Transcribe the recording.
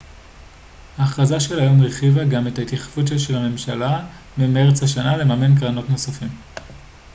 ההכרזה של היום הרחיבה גם את התחייבות הממשלה ממרץ השנה לממן קרונות נוספים